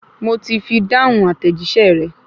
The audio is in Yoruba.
Mo ti fi dáhùn àtẹ̀jíṣẹ́ rẹ̀